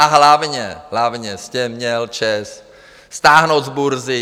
A hlavně, hlavně jste měl ČEZ stáhnout z burzy.